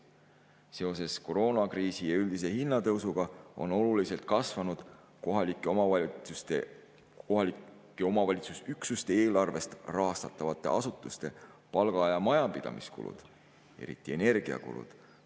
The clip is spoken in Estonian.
Seoses koroonakriisi ja üldise hinnatõusuga on oluliselt kasvanud kohalike omavalitsusüksuste eelarvest rahastatavate asutuste palga‑ ja majapidamiskulud, eriti energiakulud.